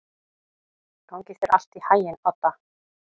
Gangi þér allt í haginn, Odda.